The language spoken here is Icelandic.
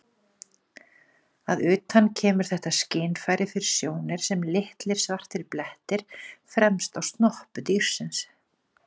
Að utan kemur þetta skynfæri fyrir sjónir sem litlir svartir blettir fremst á snoppu dýrsins.